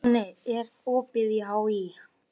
Konni, er opið í HÍ?